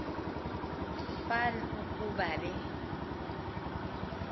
fan ukuba be